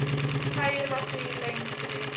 Því færra, því lengri.